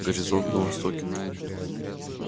горизонт на востоке